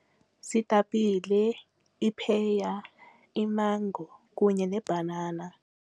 Ziitapile, ipheya, imango kunye neebhanana.